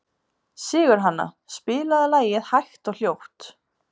Sigurhanna, spilaðu lagið „Hægt og hljótt“.